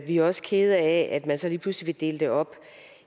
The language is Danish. vi er også kede af at man så lige pludselig vil dele det op